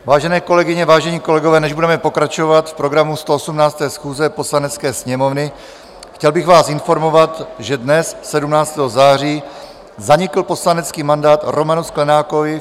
Vážené kolegyně, vážení kolegové, než budeme pokračovat v programu 118. schůze Poslanecké sněmovny, chtěl bych vás informovat, že dnes, 17. září, zanikl poslanecký mandát Romanu Sklenákovi.